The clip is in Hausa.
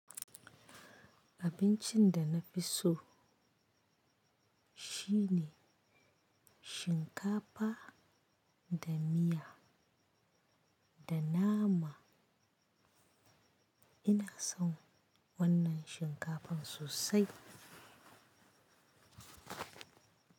Abincin da na fi so shine shinkafa da miya da nama. Ina son wannan shinkafan sosai.